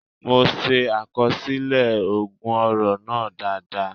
The ogun oro festival was well recorded by me.